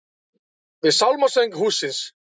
Við sálmasöng hússins.